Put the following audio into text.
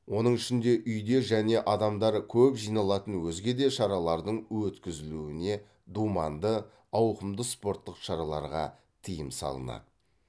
оның ішінде үйде және адамдар көп жиналатын өзге де шаралардың өткізілуіне думанды ауқымды спорттық шараларға тиым салынады